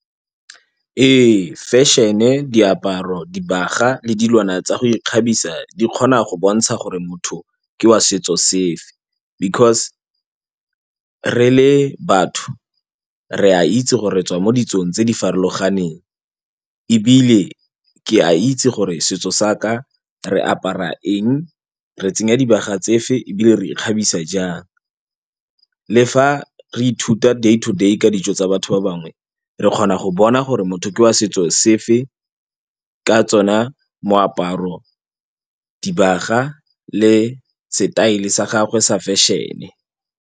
Ee fashion-e, diaparo, dibaga le dilwana tsa go ikgabisa di kgona go bontsha gore motho ke wa setso safe because re le batho re a itse go retswa mo ditsong tse di farologaneng ebile ke a itse gore setso sa ka re apara eng, re tsenya dibaga tsefe ebile re ikgabisa jang. Le fa re ithuta day to day ka ditso tsa batho ba bangwe re kgona go bona gore motho ke wa setso sefe ka tsona moaparo, dibaga le setaele sa gagwe sa fashion-e.